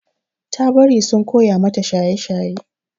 Ta bari sun koya mata shaye-shaye.